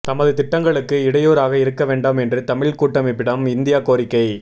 தமது திட்டங்களுக்கு இடையூறாக இருக்கவேண்டாம் என்று தமிழ் கூட்டமைப்பிடம் இந்தியா கோரிக்கை